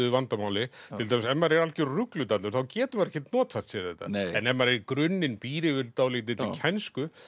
vandamáli til dæmis ef maður er algjör rugludallur þá getur maður ekkert notfært sér þetta en ef maður í grunninn býr yfir dálítilli kænsku